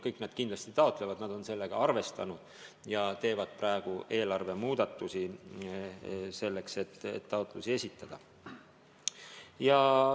Kõik kindlasti taotlevad, nad on selle rahaga arvestanud ja teevad praegu eelarvemuudatusi, et taotlusi esitada.